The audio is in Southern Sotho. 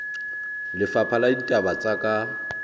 lefapha la ditaba tsa ka